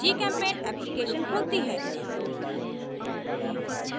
gchempaint application खुलती है